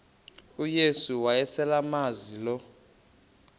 uyesu wayeselemazi lo